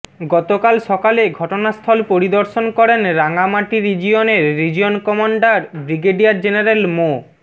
গতকাল সকালে ঘটনাস্থল পরিদর্শন করেন রাঙামাটি রিজিয়নের রিজিয়ন কমান্ডার ব্রিগেডিয়ার জেনারেল মো